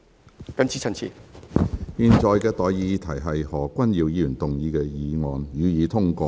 我現在向各位提出的待議議題是：何君堯議員動議的議案，予以通過。